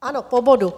Ano, po bodu.